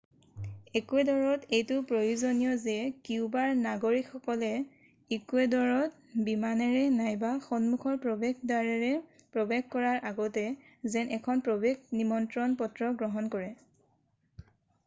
একুৱেডৰত এইটো প্ৰয়োজনীয় যে কিউবাৰ নাগৰিকসকলে ইকুৱেডৰত বিমানেৰে নাইবা সন্মুখৰ প্ৰৱেশ দ্বাৰেৰে প্ৰৱেশ কৰাৰ আগতে যেন এখন প্ৰৱেশ নিমন্ত্ৰণ পত্ৰ গ্ৰহণ কৰে